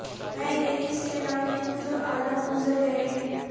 میں یہ کس کے نام لکھوں جو الم گزر رہے ہیں